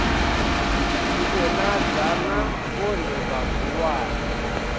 ḓi vhonadza na vhone vhahulwane